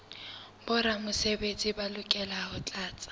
boramesebetsi ba lokela ho tlatsa